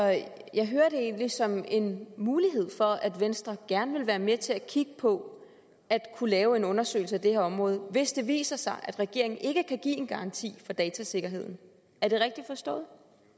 jeg hører det egentlig som en mulighed for at venstre gerne vil være med til at kigge på at kunne lave en undersøgelse af det her område hvis det viser sig at regeringen ikke kan give en garanti for datasikkerheden er det rigtigt forstået